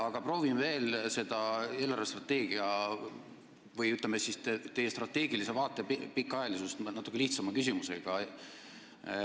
Aga proovin veel küsida eelarvestrateegia või teie strateegilise vaate pikaajalisuse kohta natuke lihtsamalt.